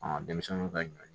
denmisɛnninw ka ɲɔ